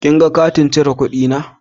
kin gan katin cire kudi na?